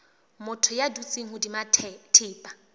motho ya dutseng hodima thepa